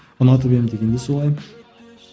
ұнатып едім деген де солай